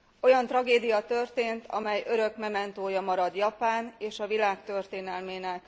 Olyan tragédia történt, amely örök mementója marad Japán és a világ történelmének.